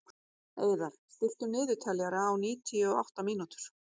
Eiðar, stilltu niðurteljara á níutíu og átta mínútur.